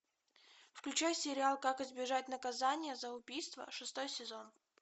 включай сериал как избежать наказания за убийство шестой сезон